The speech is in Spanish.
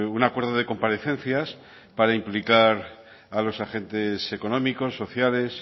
un acuerdo de comparecencias para implicar a los agentes económicos sociales